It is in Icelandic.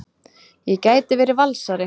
Ég gæti verið Valsari.